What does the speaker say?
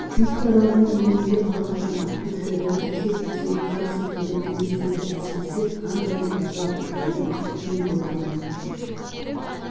қамысты аралдың иінінде қалқыған аққу шоғыры кесек-кесек қар секілді елестейді әсіресе қандай ғажап айлы түн толған